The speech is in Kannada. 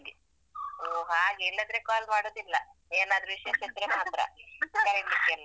ಓ ಹಾಗೆ ಇಲ್ಲದ್ರೆ call ಮಾಡುದಿಲ್ಲ ಏನಾದ್ರು ವಿಶೇಷ ಇದ್ರೆ ಮಾತ್ರ ಕರಿಲಿಕ್ಕೆ ಎಲ್ಲ.